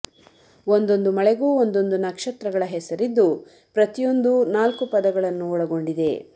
ಒಂದೊಂದು ಮಳೆಗೂ ಒಂದೊಂದು ನಕ್ಷತ್ರಗಳ ಹೆಸರಿದ್ದು ಪ್ರತಿಯೊಂದು ನಾಲ್ಕು ಪದಗಳನ್ನು ಒಳಗೊಂಡಿದೆ